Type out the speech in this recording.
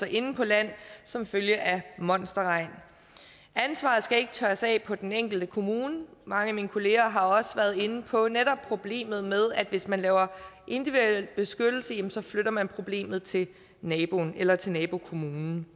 inde på land som følge af monsterregn ansvaret skal ikke tørres af på den enkelte kommune mange af mine kollegaer har også været inde på netop problemet med at hvis man laver individuel beskyttelse jamen så flytter man problemet til naboen eller til nabokommunen